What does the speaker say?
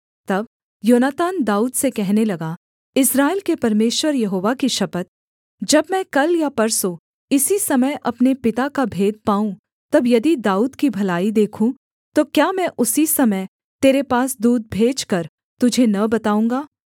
तब योनातान दाऊद से कहने लगा इस्राएल के परमेश्वर यहोवा की शपथ जब मैं कल या परसों इसी समय अपने पिता का भेद पाऊँ तब यदि दाऊद की भलाई देखूँ तो क्या मैं उसी समय तेरे पास दूत भेजकर तुझे न बताऊँगा